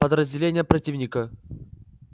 подразделения противника